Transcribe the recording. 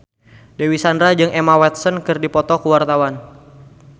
Dewi Sandra jeung Emma Watson keur dipoto ku wartawan